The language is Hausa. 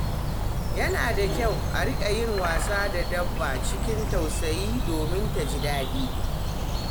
Yana da kyau a riƙa yin wasa da dabba cikin tausayi domin ta ji daɗi.